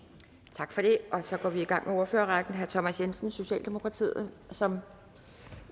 tak for det så går vi i gang med ordførerrækken herre thomas jensen socialdemokratiet som